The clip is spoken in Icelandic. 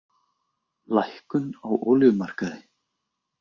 Lækkun á olíumarkaði